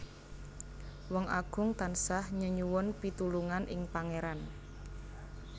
Wong Agung tansah nyenyuwun pitulungan ing Pangéran